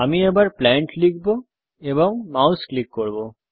আমি প্লান্ট লিখব এবং মাউস ক্লিক করব